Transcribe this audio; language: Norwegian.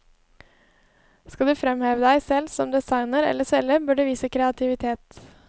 Skal du fremheve deg selv som designer eller selger bør du vise kreativitet.